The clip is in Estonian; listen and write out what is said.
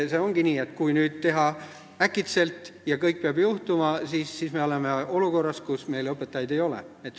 Seega ongi nii, et kui nüüd teha midagi äkitselt ja kõik peab kohe juhtuma, siis me oleme olukorras, kus meil õpetajaid ei ole.